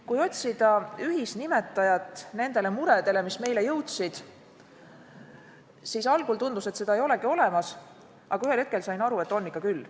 Kui otsisin meie jõudnud murede ühisnimetajat, siis algul tundus, et seda ei olegi olemas, aga ühel hetkel sain aru, et on ikka küll.